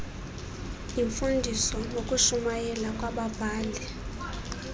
yimfundiso nokushumayela kwababhali